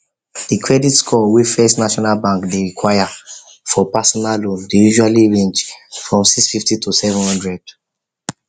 the credit score wey first national bank dey require for personal loan dey usually range from 650 to 700